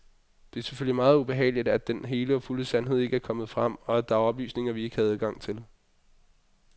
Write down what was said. Det er selvfølgelig meget ubehageligt, at den hele og fulde sandhed ikke er kommet frem, og at der er oplysninger, vi ikke har adgang til.